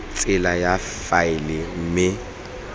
tsela ya go faela mme